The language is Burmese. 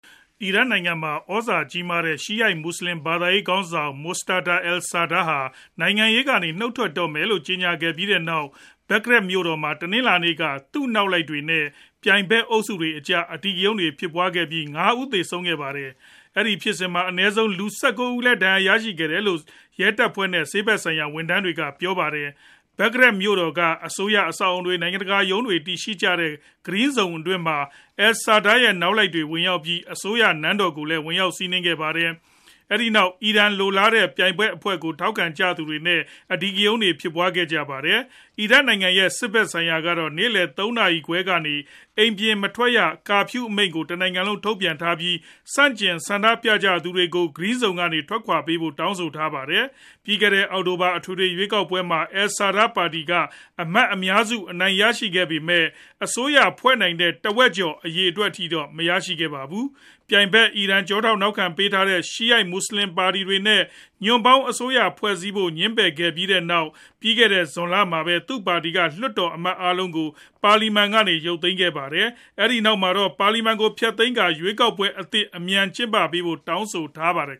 အီရတ်နိုင်ငံမှာ သြဇာကြီးမားတဲ့ ရှီယာ မွတ်ဆလင် ဘာသာရေးခေါင်းဆောင် Muqtada al-Sadr ဟာ နိုင်ငံရေးကနေ နုတ်ထွက်တော့မယ်လို့ ကြေညာခဲ့ပြီးနောက် Baghdad မြို့တော်မှာ တနင်္လာနေ့က သူနောက်လိုက်တွေနဲ့ ပြိုင်ဖက်အုပ်စုတွေအကြားမှာ အဓိကရုဏ်းတွေ ဖြစ်ပွားခဲ့ကြပြီး ၅ ဦးသေဆုံးခဲ့ပါတယ်။ အဲဒီလိုဖြစ်စဉ်မှာ အနည်းဆုံး လူ ၁၉ ဦးလည်း ဒဏ်ရာတွေ ရရှိခဲ့တယ်လို့ ရဲတပ်ဖွဲ့ နဲ့ ဆေးဖက်ဆိုင်ရာ ဝန်ထမ်းတွေက ပြောပါတယ်။ Baghdad မြို့တော်က အစိုးရအဆောက်အဦတွေ၊ နိုင်ငံတကာရုံးတွေ တည်ရှိကြတဲ့ Green Zone အတွင်းမှာ al-Sadr ရဲ့ နောက်လိုက်တွေ ဝင်ရောက်ပြီး အစိုးရ နန်းတော်ကိုလည်း စီးနင်းဝင်ရောက်ခဲ့ပါတယ်။ အဲဒီနောက် အီရန်လိုလားတဲ့ ပြိုင်ဖက်အဖွဲ့ကို ထောက်ခံကြသူတွေနဲ့ အဓိကရုဏ်း ဖြစ်ပွားခဲ့ကြပါတယ်။ အီရတ်နိုင်ငံရဲ့ စစ်ဖက်ဆိုင်ရာကတော့ နေ့လည် ၃ နာရီခွဲကနေ အိမ်ပြင်မထွက်ရ Curfew အမိန့်ကို တနိုင်ငံလုံးကို ထုတ်ပြန်ထားပြီး ဆန့်ကျင်ဆန္ဒပြနေကြသူတွေကို Green Zone အတွင်းကနေ ထွက်ခွာပေးဖို့လည်း တောင်းဆိုထားပါတယ်။ ပြီးခဲ့တဲ့ အောက်တိုဘာလ အထွေထွေ ရွေးကောက်ပွဲမှာ al-Sadr ရဲ့ ပါတီက အမတ်အများစု အနိုင်ရရှိခဲ့ပေမယ့် အစိုးရဖွဲ့နိုင်တဲ့ တဝက်ကျော် အရေအတွက်အထိတော့ မရရှိခဲ့ပါဘူး။ ပြိုင်ဖက် အီရန်က ကျောထောက်နောက်ခံပေးထားတဲ့ ရှီယာ မွတ်ဆလင်ပါတီတွေနဲ့ ညွန့်ပေါင်းအစိုးရဖွဲ့ဖို့စည်းဖို့ ငြင်းပယ်ခဲ့ပြီးနောက် ပြီးခဲ့တဲ့ ဇွန်လမှာပဲ သူ့ပါတီက လွှတ်တော်အမတ်တွေ အားလုံးကို ပါလီမန်ကနေ ရုပ်သိမ်းခဲ့ပါတယ်။ ဒီနောက်မှာတော့ ပါလီမန်ကို ဖျက်သိမ်းကာ ရွေးကောက်ပွဲအသစ်ကို အမြန်ဆုံး ကျင်းပပေးဖို့ တောင်းဆိုထားပါတယ်